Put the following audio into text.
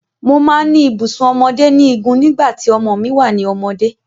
Mo máa ń ní ibùsùn ọmọdé ní igun nígbà tí ọmọ mi wà ní ọmọdé.